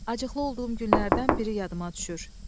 Acıqlı olduğum günlərdən biri yadıma düşür.